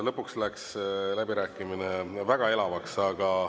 Lõpuks läks läbirääkimine väga elavaks.